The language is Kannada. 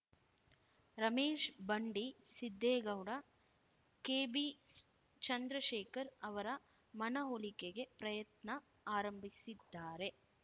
ರಮೇಶ್ ಬಂಡಿ ಸಿದ್ದೇಗೌಡ ಕೆಬಿ ಚಂದ್ರಶೇಖರ್ ಅವರ ಮನವೊಲಿಕೆಗೆ ಪ್ರಯತ್ನ ಆರಂಭಿಸಿದ್ದಾರೆ